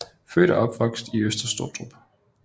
Født og opvokset i Øster Sottrup